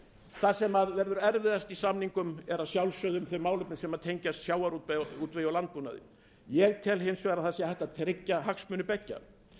það sem verður erfiðast í samningum eru að sjálfsögðu þau málefni sem tengjast sjávarútvegi og landbúnaði ég tel hins vegar að það sé hægt að tryggja hagsmuni beggja